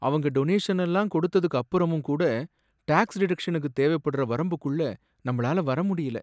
அவங்க டொனேஷன்லாம் கொடுத்ததுக்கு அப்பறமும் கூட டாக்ஸ் டிடெக்ஷனுக்கு தேவைப்படுற வரம்புக்குள்ள நம்மளால வர முடியல.